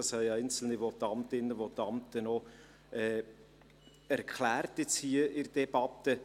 Das haben einzelne Votantinnen und Votanten noch erklärt hier in der Debatte.